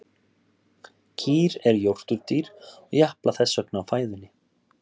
kýr eru jórturdýr og japla þess vegna á fæðunni